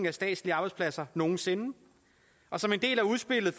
af statslige arbejdspladser nogen sinde og som en del af udspillet